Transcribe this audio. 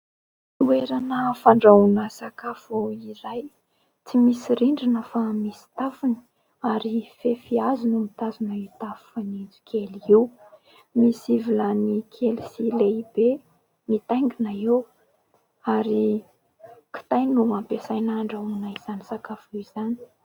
Toerana fandrahoana sakafo iray tsy misy rindrina fa misy tafony ary fefy hazo no mitazona ny tafo fanitso kely io. Misy vilany kely sy lehibe mitaingina eo ary kitay no ampiasaina handrahoina izany sakafo izany.